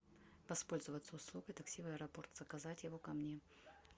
воспользоваться услугой такси в аэропорт заказать его ко мне